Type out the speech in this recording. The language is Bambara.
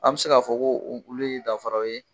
An bɛ se k'a fɔ ko o olu ye danfaraw ye.